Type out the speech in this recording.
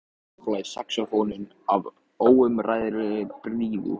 Yfir og allt um kring blæs saxófónninn af óumræðilegri blíðu.